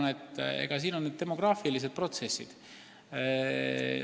Ma arvan, et mängus on demograafilised protsessid.